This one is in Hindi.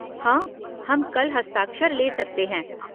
हाँ, हम कल हस्ताक्षर ले सकते हैं।